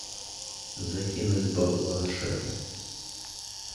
закинуть бабла шефу